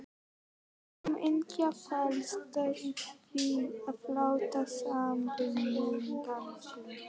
Hamingjan felst í því að láta samvinnuna ganga upp.